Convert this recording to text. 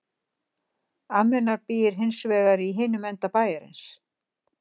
Amma hennar býr hins vegar í hinum enda bæjarins.